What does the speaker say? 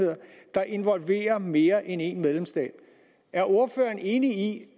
der involverer mere end én medlemsstat er ordføreren enig